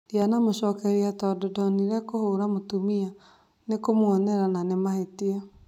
Ndĩanamũcokeria tondu ndonire kũbũra mũtumia ni kũmwonera na nĩ mahĩtia